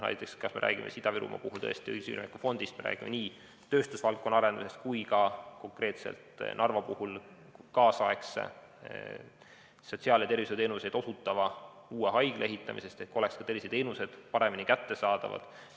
Näiteks, me räägime Ida-Virumaa puhul tõesti õiglase ülemineku fondist, me räägime nii tööstusvaldkonna arendamisest kui konkreetselt Narva puhul ka kaasaegse sotsiaal‑ ja tervishoiuteenuseid osutava uue haigla ehitamisest, et terviseteenused oleksid paremini kättesaadavad.